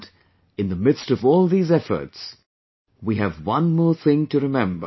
And in the midst of all these efforts, we have one more thing to remember